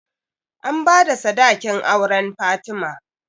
An bada sadakin auren fatima